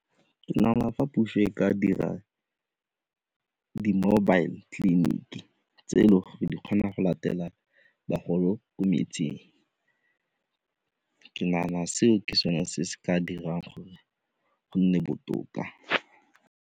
Nagana fa puso e ka dira di-mobile clinic tse e le gore di kgona go latela bagolo ko metsing, ke nagana seo ke sone se se ka dirang gore go nne botoka.